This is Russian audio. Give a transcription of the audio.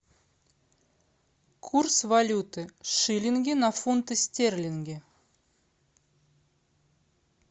курс валюты шиллинги на фунты стерлингов